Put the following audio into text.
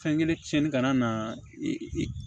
Fɛn kelen cɛnni kana na i